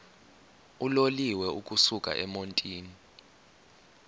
uloliwe ukusuk emontini